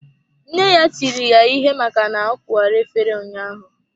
Nne ya tiri ya ihe maka na ọ kuwara efere ụnyaahụ.